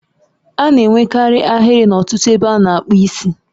A na-enwekarị ahịrị n'ọtụtụ ebe a na-akpu isi